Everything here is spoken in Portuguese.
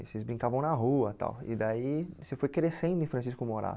Vocês brincavam na rua tal e daí você foi crescendo em Francisco Morato.